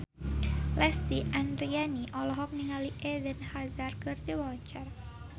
Lesti Andryani olohok ningali Eden Hazard keur diwawancara